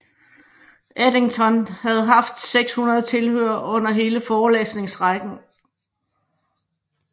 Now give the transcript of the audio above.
Eddington havde haft 600 tilhørere under hele forelæsningsrækken